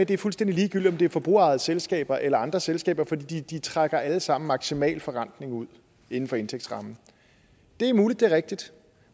det er fuldstændig ligegyldigt om det er forbrugerejede selskaber eller andre selskaber fordi de trækker alle sammen maksimal forrentning ud inden for indtægtsrammen det er muligt det er rigtigt